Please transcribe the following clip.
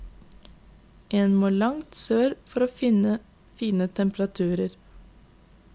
En må langt sør for å finne fine temperaturer.